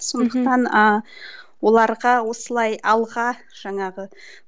сондықтан ыыы оларға осылай алға жаңағы